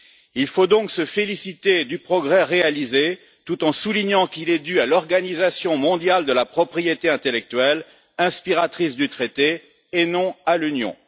Il faut donc se féliciter du progrès réalisé, tout en soulignant qu'il est dû à l'Organisation mondiale de la propriété intellectuelle, inspiratrice du traité, et non à l'Union.